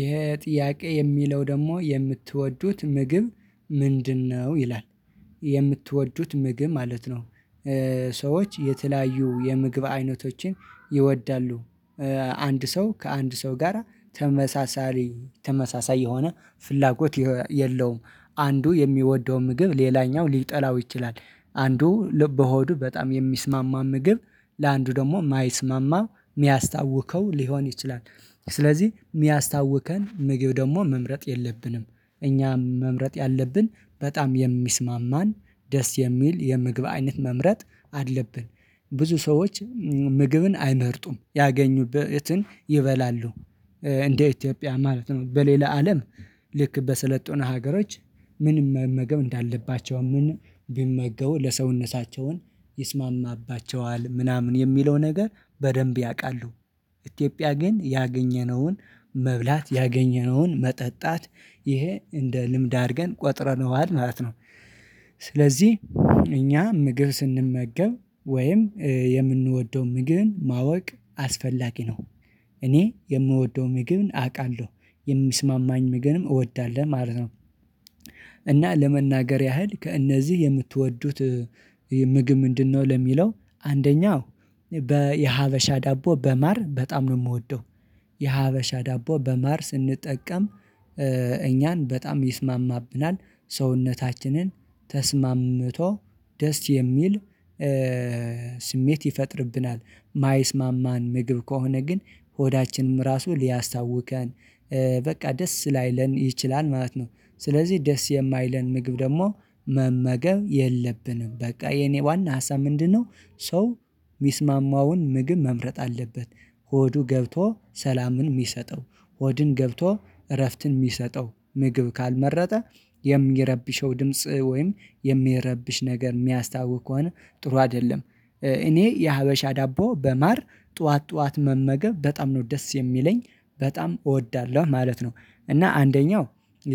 ይሄ ጥያቄ የሚለው ደግሞ የምትወዱት ምግብ ምንድነው? ይላል የምትወዱት ምግብ ማለት ነው። ሰዎች የተለያዩ የምግብ አይነቶችን ይወዳሉ። አንድ ሰው ከአንድ ሰው ጋራ ተመሳሳይ ተመሳሳይ የሆነ ፍላጎት የለውም። አንዱ የሚወደውን ምግብ ሌላኛው ሊጠላው ይችላል አንዱ ልበ ሆዱ በጣም የሚስማማ ምግብ ለአንዱ ደግሞ የማይስማማ የሚያስታውከው ሊሆን ይችላል። ስለዚህ የሚያስታውከን ምግብ ደግሞ መምረጥ የለብንም እኛ መምረጥ ያለብን በጣም የሚስማማን ደስ የሚል የምግብ አይነት መምረጥ አለብን። ብዙ ሰዎች ምግብን አይመርጡም ያገኙበትን ይበላሉ። እንደ ኢትዮጵያ ማለት ነው በሌላ አለም ልክ በሰለጠኑ ሀገሮች ምን መመገብ እንዳለባቸው ምን ቢመገቡ ለሰውነታቸውን ይስማማባቸዋል ምናምን የሚለው ነገር በደንብ ያውቃሉ። ኢትዮጵያ ግን ያገኘነውን መብላት ያገኘነውን መጠጣት ይሄ እንደ ልምድ አድርገን ቆጥረነዋል ማለት ነው። ስለዚህ እኛ ምግብ ስንመገብ ወይም የምንወደው ምግብን ማወቅ አስፈላጊ ነው። እኔ የምወደውን ምግብ አውቃለሁ የሚስማማኝ ምግብም እወዳለሁ ማለት ነው። እና ለመናገር ያህል ከእነዚህ የምትወዱት ምግብ ምንድነው? ለሚለው አንደኛው በየሀበሻ ዳቦ በማር በጣም ነው የምወደው። የሀበሻ ዳቦ በማር ስንጠቀም እኛን በጣም ይስማማብናል ሰውነታችንን ተስማምቶ ደስ የሚል ስሜት ይፈጥርብናል። የማይስማማን ምግብ ከሆነ ግን ሆዳችንም ራሱ ሊያስታውከን በቃ ደስ ላይለን ይችላል ማለት ነው። ስለዚህ ደስ የማይለን ምግብ ደግሞ መመገብ የለብንም በቃ የኔ ዋና ሀሳብ ምንድነው? ሰው ሚስማማውን ምግብ መምረጥ አለበት። ሆዱ ገብቶ ሰላምን የሚሰጠው ሆድን ገብቶ እረፍትን የሚሰጠው ምግብ ካልመረጠ የሚረብሸው ድምጽ ወይም የሚረብሽ ነገር የሚያስታውክ ከሆነ ጥሩ አይደለም። እኔ የሀበሻ ዳቦ በማር ጠዋት ጠዋት መመገብ በጣም ነው ደስ የሚለኝ በጣም እወዳለሁ ማለት ነው። እና አንደኛው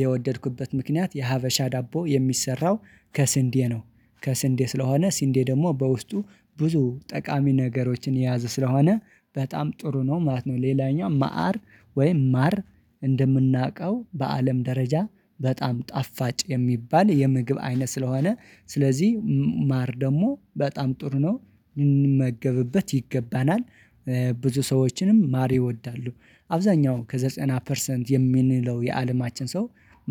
የወደድኩበት ምክንያት የሀበሻ ዳቦ የሚሰራው ከስንዴ ነው። ከስንዴ ስለሆነ ስንዴ ደግሞ በውስጡ ብዙ ጠቃሚ ነገሮችን የያዘ ስለሆነ በጣም ጥሩ ነው ማለት ነው። ሌላኛው ማዕር ወይም ማር እንደምናውቀው በአለም ደረጃ በጣም ጣፋጭ የሚባል የምግብ አይነት ስለሆነ ስለዚህ ማር ደግሞ በጣም ጥሩ ነው የምንመገብበት ይገባናል። ብዙ ሰዎችንም ማር ይወዳሉ አብዛኛው ከዘጠና ፐርሰንት የምንለው የአለማችን ሰው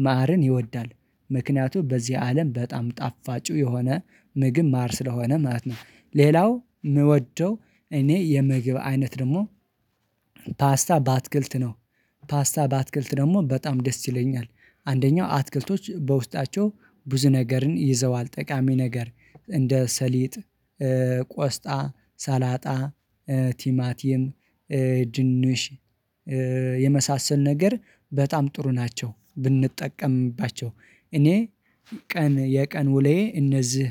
ማርን ይወዳል። ምክንያቱም በዚህ አለም በጣም ጣፋጩ የሆነ ምግብ ማር ስለሆነ ማለት ነው። ሌላው ምወደው እኔ የምግብ አይነት ደግሞ ፓስታ በአትክልት ነው። ፓስታ በአትክልት ደግሞ በጣም ደስ ይለኛል አንደኛው አትክልቶች በውስጣቸው ብዙ ነገርን ይዘዋል ጠቃሚ ነገር እንደ ሰሊጥ ቆስጣ ሰላጣ ቲማቲም ድንሽ የመሳሰሉ ነገር በጣም ጥሩ ናቸው። ብንጠቀምባቸው እኔ ቀን የቀን ውለዬ እነዚህ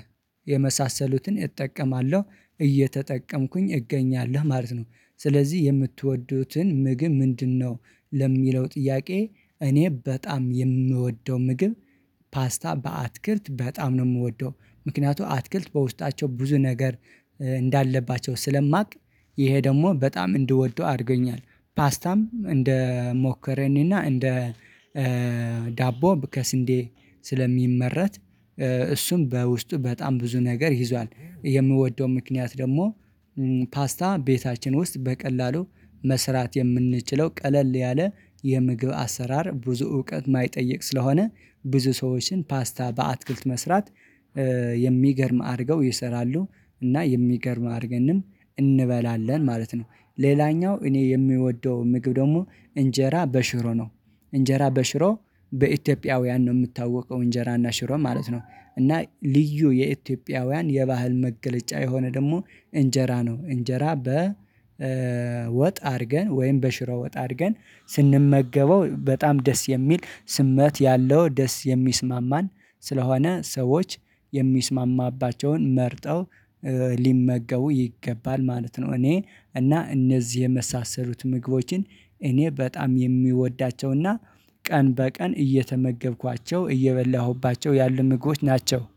የመሳሰሉትን እጠቀማለሁ እየተጠቀምኩኝ እገኛለሁ ማለት ነው። ስለዚህ የምትወዱትን ምግብ ምንድነው? ለሚለው ጥያቄ እኔ በጣም የምወደው ምግብ ፓስታ በአትክልት በጣም ነው የምወደው። ምክንያቱም አትክልት በውስጣቸው ብዙ ነገር እንዳለባቸው ስለማውቅ ይሄ ደግሞ በጣም እንድወደው አድርገኛል። ፓስታም እንደ ሞከረኒ እና እንደ ዳቦ ከስንዴ ስለሚመረት እሱም በውስጡ በጣም ብዙ ነገር ይዟል። የምወደው ምክንያት ደግሞ ፓስታ ቤታችን ውስጥ በቀላሉ መስራት የምንችለው ቀለል ያለ የምግብ አሰራር ብዙ እውቀት የማይጠይቅ ስለሆነ። ብዙ ሰዎችን ፓስታ በአትክልት መስራት የሚገርም አድርገው ይሰራሉ። እና የሚገርም አድርገንም እንበላለን ማለት ነው። ሌላኛው እኔ የምወደው ምግብ ደግሞ እንጀራ በሽሮ ነው። እንጀራ በሽሮ በኢትዮጵያውያን ነው የምታወቀው እንጀራና ሽሮ ማለት ነው። እና ልዩ የኢትዮጵያውያን የባህል መገለጫ የሆነ ደግሞ እንጀራ ነው እንጀራ በ ወጥ አድርገን ወይም በሽሮ ወጥ አድርገን ስንመገበው በጣም ደስ የሚል ስሜት ያለው ደስ የሚስማማን። ስለሆነ ሰዎች የሚስማማባቸውን መርጠው ሊመገቡ ይገባል ማለት ነው። እኔ እና እነዚህ የመሳሰሉት ምግቦችን እኔ በጣም የሚወዳቸውና ቀን በቀን እየተመገብኳቸው እየበላሁባቸው ያሉ ምግቦች ናቸው